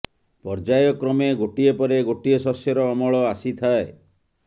ପର୍ଯ୍ୟାୟ କ୍ରମେ ଗୋଟିଏ ପରେ ଗୋଟିଏ ଶସ୍ୟର ଅମଳ ଆସିଥାଏ